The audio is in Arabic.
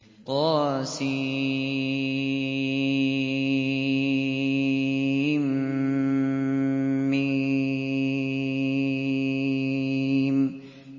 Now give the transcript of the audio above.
طسم